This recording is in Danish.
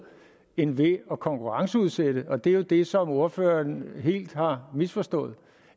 end at konkurrenceudsætte og det er jo det som ordføreren helt har misforstået